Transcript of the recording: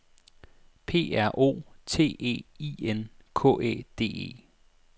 P R O T E I N K Æ D E